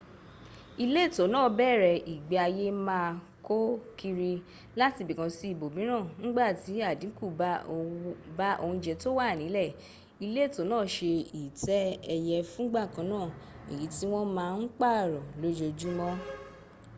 ìletò náà bẹ̀rẹ̀ ìgbéayé má a kó kiri látibìkan sí ibòmíràn ńgbàti àdínkù bá oúnjẹ tó wà nílẹ̀ ìletò náà se ìtẹ́ ẹyẹ fúngbà kanná èyí tí wọ́n má ń pààrọ̀ lójoójúmọ́